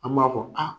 An b'a fɔ a